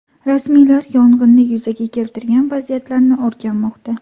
Rasmiylar yong‘inni yuzaga keltirgan vaziyatlarni o‘rganmoqda.